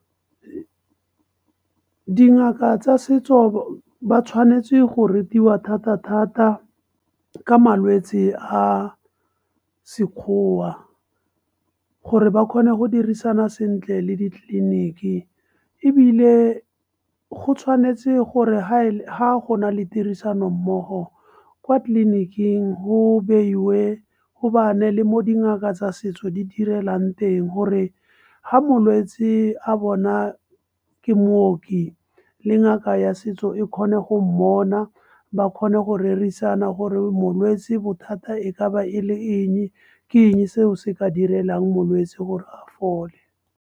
Dingaka tsa setso ba tshwanetse go rutiwa thata-thata ka malwetse a Sekgowa. Gore ba kgone go dirisana sentle le ditleliniki, ebile go tshwanetse gore ga go na le tirisanommogo kwa tleliniking gobane le mo dingaka tsa setso di direlang teng. Gore ga molwetse a bona ke mooki le ngaka ya setso, e kgone go mmona ba kgone go rerisana gore molwetse bothata e ka ba e le eng, ke eng seo se ka direlang molwetse gore a fole.